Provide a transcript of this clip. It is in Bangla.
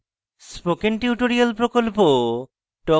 spoken tutorial প্রকল্প talk to a teacher প্রকল্পের অংশবিশেষ